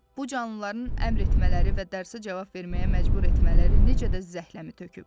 Bu canlıların əmr etmələri və dərsə cavab verməyə məcbur etmələri necə də zəhləmi töküb.